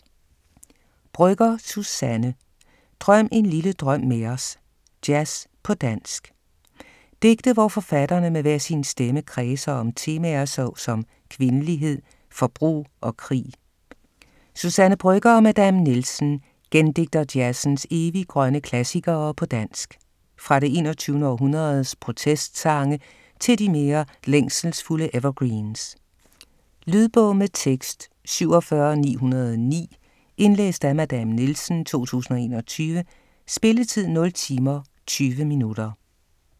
Brøgger, Suzanne: Drøm en lille drøm med os: jazz på dansk Digte hvor forfatterne med hver sin stemme kredser om temaer så som kvindelighed, forbrug og krig Suzanne Brøgger & Madame Nielsen gendigter jazzens eviggrønne klassikere på dansk. Fra det 21. århundredes protestsange til de mere længselsfulde evergreens. Lydbog med tekst 47909 Indlæst af Madame Nielsen, 2021. Spilletid: 0 timer, 20 minutter.